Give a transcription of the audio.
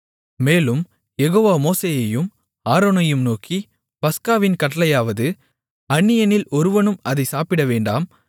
மேலும் யெகோவா மோசேயையும் ஆரோனையும் நோக்கி பஸ்காவின் கட்டளையாவது அந்நியனில் ஒருவனும் அதை சாப்பிடவேண்டாம்